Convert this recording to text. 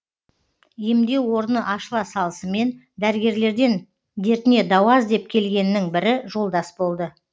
емдеу орны ашыла салысымен дәрігерлерден дертіне дауа іздеп келгеннің бірі жолдас болды